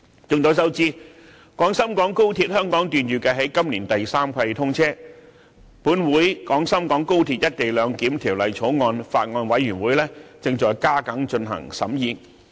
眾所周知，廣深港高鐵香港段預設在今年第三季通車，本會《廣深港高鐵條例草案》委員會正在加緊進行審議。